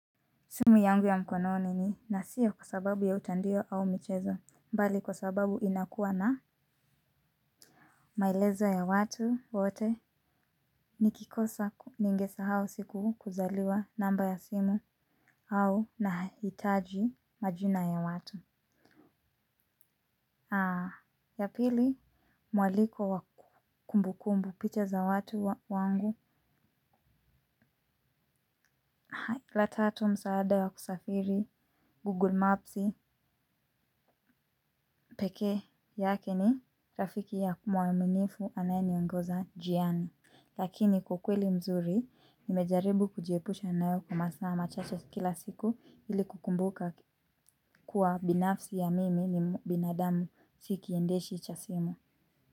Simu yangu ya mkononi ni na siyo kwa sababu ya utandio au michezo mbali kwa sababu inakuwa na maelezo ya watu wote nikikosa ningesahau siku kuzaliwa namba ya simu. Au nahitaji majina ya watu ya pili mwaliko wa kumbukumbu picha za watu wangu. La tatu msaada wa kusafiri, Google Maps peke yake ni rafiki ya mwaminifu anayeniongoza njiani lakini kwa ukweli mzuri, nimejaribu kujiepusha nayo kwa masaa machache kila siku ili kukumbuka kuwa binafsi ya mimi ni binadamu si kiendeshi cha simu.